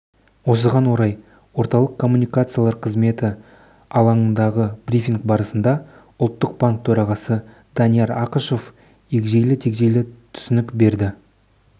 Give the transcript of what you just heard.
осыған орай орталық коммуникациялар қызметі алаңындағы брифинг барысында ұлттық банк төрағасы данияр ақышев егжейлі-тегжейлі түсінік берді